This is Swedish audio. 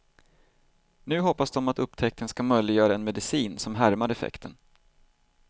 Nu hoppas de att upptäckten ska möjliggöra en medicin som härmar effekten.